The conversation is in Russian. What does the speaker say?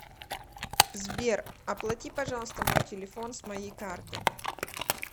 сбер оплати пожалуйста мой телефон с моей карты